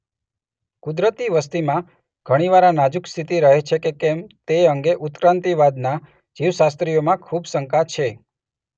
કુદરતી વસતિમાં ઘણીવાર આ નાજુક સ્થિતિ રહે છે કે કેમ તે અંગે ઉત્ક્રાંતિવાદના જીવશાસ્ત્રીઓમાં ખૂબ શંકા છે.